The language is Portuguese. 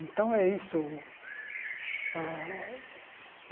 Então é isso. Ah